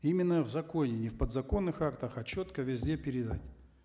именно в законе не в подзаконных актах а четко везде передать